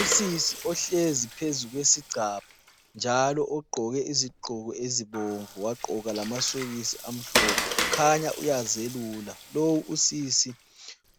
Usisi ohlezi phezu kwe sigcabha njalo ogqoke izigqoko ezibomvu wagqoka lamasokisi amhlophe ukhanya uyazelula. Lo usisi